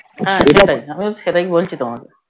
হ্যাঁ আমিও সেটাই বলছি তোমাকে